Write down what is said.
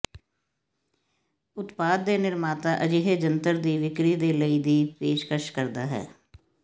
ਉਤਪਾਦ ਦੇ ਨਿਰਮਾਤਾ ਅਜਿਹੇ ਜੰਤਰ ਦੀ ਵਿਕਰੀ ਦੇ ਲਈ ਦੀ ਪੇਸ਼ਕਸ਼ ਕਰਦਾ ਹੈ